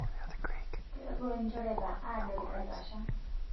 Kawotuo lnjoreta adol etasha